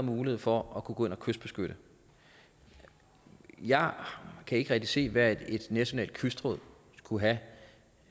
mulighed for at kunne kystbeskytte jeg kan ikke rigtig se hvad et nationalt kystråd skulle have